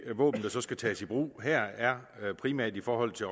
våben der så skal tages i brug her er primært i forhold til